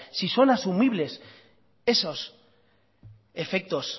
si son asumibles esos efectos